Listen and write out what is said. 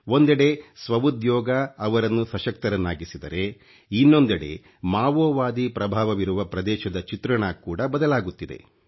ಒಂದೆಡೆ ಸ್ವ ಉದ್ಯೋಗ ಅವರನ್ನು ಸಶಕ್ತರನ್ನಾಗಿಸಿದರೆ ಇನ್ನೊಂದೆಡೆ ಮಾವೋವಾದಿ ಪ್ರಭಾವವಿರುವ ಪ್ರದೇಶದ ಚಿತ್ರಣ ಕೂಡಾ ಬದಲಾಗುತ್ತಿದೆ